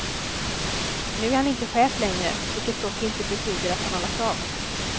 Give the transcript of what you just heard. Nu är han inte chef längre, vilket dock inte betyder att han har lagt av.